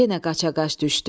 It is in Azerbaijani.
Yenə qaçaqaç düşdü.